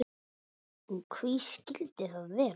Og hví skildi það vera?